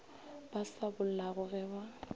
ba sa bollago ge ba